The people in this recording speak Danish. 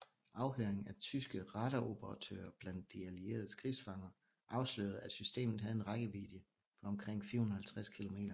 Afhøring af tyske radaroperatører blandt de allieredes krigsfanger afslørede at systemet havde en rækkevidde på omkring 450 kilometer